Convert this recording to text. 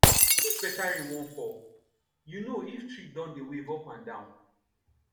if better rain wan fall you know if tree don dey wave up and down